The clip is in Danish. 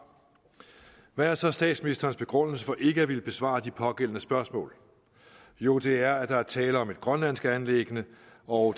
hvad er så statsministerens begrundelse for ikke at ville besvare de pågældende spørgsmål jo det er at der er tale om et grønlandsk anliggende og